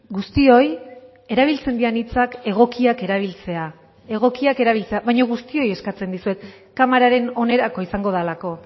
guztioi erabiltzen diren hitzak egokiak erabiltzea egokiak erabiltzea baina guztioi eskatzen dizuet kamararen onerako izango delako